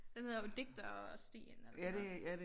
Den hedder jo Digterstien eller sådan noget